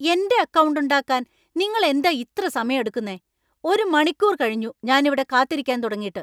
എന്‍റെ അക്കൗണ്ട് ഉണ്ടാക്കാൻ നിങ്ങൾ എന്താ ഇത്ര സമയം എടുക്കുന്നെ? ഒരു മണിക്കൂർ കഴിഞ്ഞു ഞാനിവിടെ കാത്തിരിക്കാൻ തുടങ്ങീട്ട് !